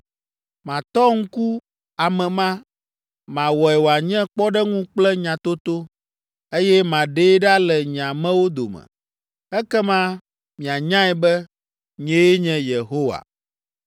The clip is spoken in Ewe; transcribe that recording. Matɔ ŋku ame ma, mawɔe wòanye kpɔɖeŋu kple nyatoto, eye maɖee ɖa le nye amewo dome. Ekema mianyae be, nyee nye Yehowa.’